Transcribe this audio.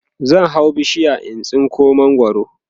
zan hau bishiya in tsinko mangwaro